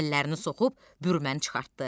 Əllərini soxub bürməni çıxartdı.